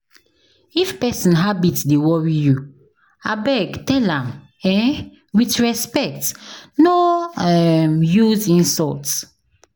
If pesin habit dey worry you, abeg tell am um with respect, no um use insult.